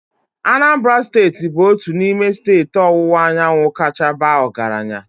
Anambra steeti bụ otu n'ime steeti ọwụwa anyanwụ kacha baa ọgaranya.